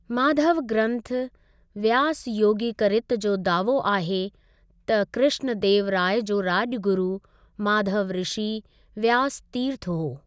माधव ग्रन्थ व्यासयोगिकरित जो दावो आहे त कृष्ण देव राय जो राॼगुरु माधव ऋषि व्यासतीर्थ हो।